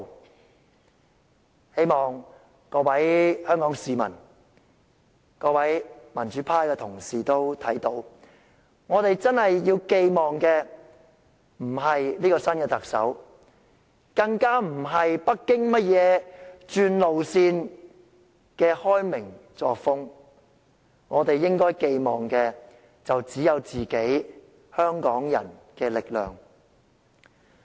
我希望各位香港市民、各位民主派的同事均看到，我們真正要寄望的並非新特首，更不是北京甚麼轉路線的開明作風；我們應該寄望的只有香港人自己的力量。